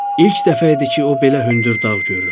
İlk dəfə idi ki, o belə hündür dağ görürdü.